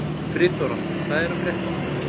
Friðþóra, hvað er að frétta?